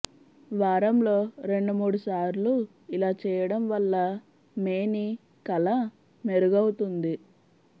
వారంలో రెండు మూడు సార్లు ఇలా చేయడం వల్ల మేని కళ మెరుగవుతుంది